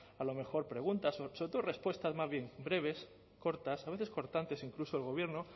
a lo mejor preguntas sobre todo respuestas más bien breves cortas a veces cortantes incluso del gobierno